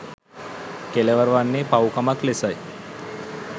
කෙළවර වන්නේ පව්කමක් ලෙසයි.